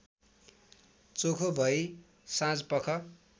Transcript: चोखो भई साँझपख